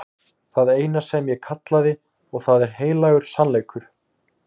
Það er það eina sem ég kallaði og það er heilagur sannleikur.